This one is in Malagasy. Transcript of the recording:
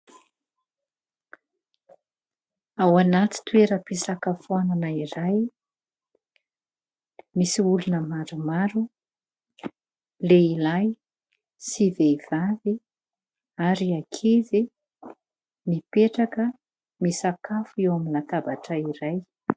Ao anaty toera-pisakafoanana iray. Misy olona maromaro : Lehilahy sy vehivavy ary ankizy, mipetraka misakafo eo amin'ny latabatra iray.